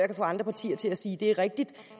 kan få andre partier til at sige at det er rigtigt